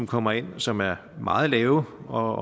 kommer ind som er meget lave og